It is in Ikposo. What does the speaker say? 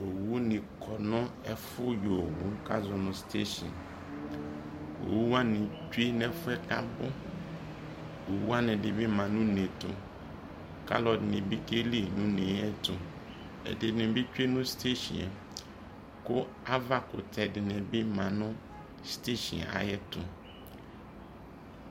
owu ne kɔ no efo yɔ owu boa ko azɔ mo station owu wane tsue no efuɛ ko abo, owu wane edi be ma no une ɛto ko alo edini bi keli no une ɛto edini bi tsue no station yɛ ko ava kutɛ dini bi maa no station yɛ ayɛto